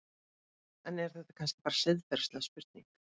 En er þetta kannski bara siðferðileg spurning?